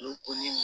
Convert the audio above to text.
Olu to ni